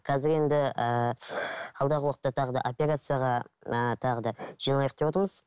қазір енді ііі алдағы уақытта тағы да операцияға ы тағы да жиналайық деп отырмыз